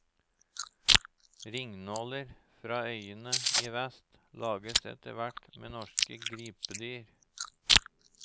Ringnåler fra øyene i vest lages etter hvert med norske gripedyr.